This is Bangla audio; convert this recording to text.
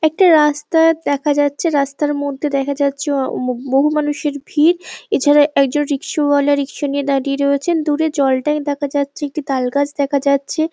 একটা রাস্তা দেখা যাচ্ছে রাস্তার মধ্যে দেখা যাচ্ছে অ অম বহু মানুষের ভিড় এছাড়া একজন রিক্সওয়ালা রিক্স নিয়ে দাঁড়িয়ে রয়েছেন দূরে জল ট্যাংক দেখা যাচ্ছে একটা তাল গাছ দেখা যাচ্ছে ।